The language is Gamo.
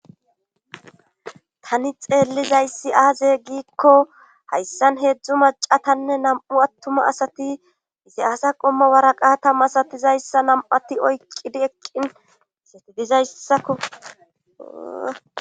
tani xeellizayssi aaze giikko hayssan heedzdzu maca tanne nam'u attuma asati izi asa qomma waraqata masatizayssa nam'ati oyqqidi eqqin asati dizayssako